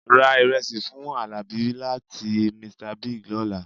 Ra ìrẹsì fún àlàbí láti Mr Bigg lọ́la